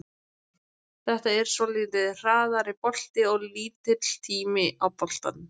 Þetta er svolítið hraðari bolti og lítill tími á boltanum.